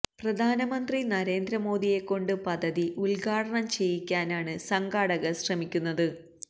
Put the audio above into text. പ്രധാനമന്ത്രി നരേന്ദ്ര മോദിയെക്കൊണ്ട് പദ്ധതി ഉദ്ഘാടനം ചെയ്യിക്കാനാണ് സംഘാടകർ ശ്രമിക്കുന്നത്